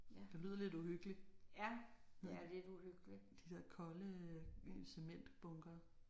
Det lyder lidt uhyggeligt. De der kolde cementbunkere